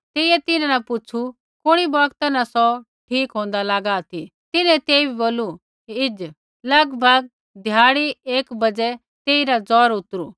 तेइयै तिन्हां न पुछु कुणी बौगता न सौ ठीक होन्दा लागा ती तिन्हैं तेइबै बोलू हिज़ लगभग धयाडी एक बज़ै तेइरा जौर उतरु